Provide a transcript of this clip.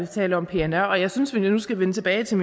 taler om pnr jeg synes at vi nu skal vende tilbage til